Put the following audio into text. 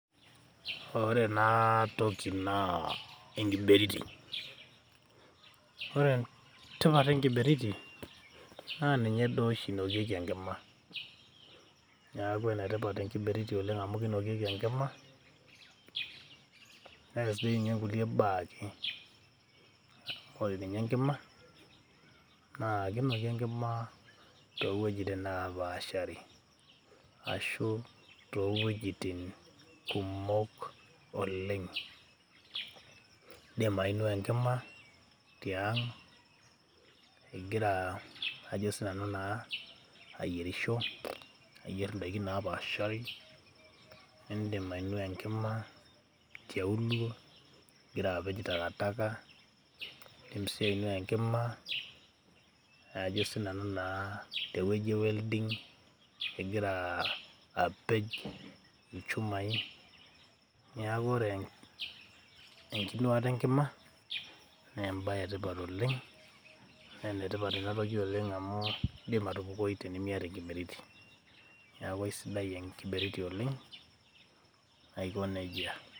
ore ena toki naa enkiberiti . ore entipat enkiberiti ,naa ninye duo oshi inokieki enkima . niaku ene tipat enkiberiti oleng amu kinokieki enkima neas dii ninye nkulie baa . ore ninye enkima naa kinoki enkima too wuejitin naapashari ashu too wuejitin kumok oleng. indim ainuaa enkima tiang ingira ajo sinanu naaa ayierisho ,niyier indaiki napaashari ,nindim ainuaa enkima tialuo ingira apej takataka .indim sii ainua enkima ajo naa sinanu naaa tewueji e welding ingira apej ilchumai .niaku ore enkinuata enkima naa embae etipat oleng amu indim atupukoi tenimiata enkiberiti .niaku aisidai enkiberiti oleng aiko nejia.